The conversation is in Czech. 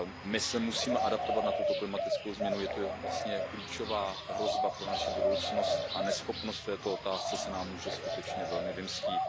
My se musíme adaptovat na tuto klimatickou změnu, je to vlastně klíčová hrozba pro naši budoucnost a neschopnost v této otázce se nám může skutečně velmi vymstít.